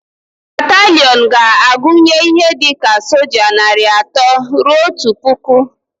Bataliiọn ga-agunye ihe dika soja narị atọ rue otu pụkụ